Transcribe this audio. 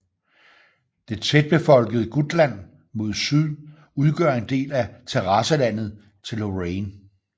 Det tætbefolkede Gutland mod syd udgør en del af terrasselandet til Lorraine